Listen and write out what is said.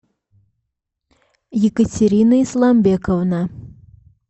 екатерина исламбековна